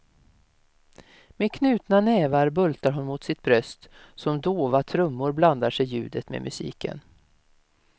Med knutna nävar bultar hon mot sitt bröst, som dova trummor blandar sig ljudet med musiken.